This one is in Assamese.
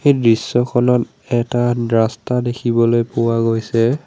এই দৃশ্যখনত এটা ৰাস্তা দেখিবলৈ পোৱা গৈছে।